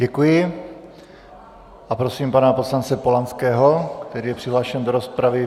Děkuji a prosím pana poslance Polanského, který je přihlášen do rozpravy.